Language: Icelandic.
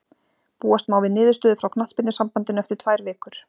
Búast má við niðurstöðu frá knattspyrnusambandinu eftir tvær vikur.